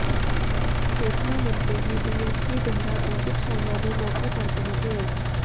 सूचना मिलते ही डीएसपी देहरा अंकित शर्मा भी मौके पर पहुंचे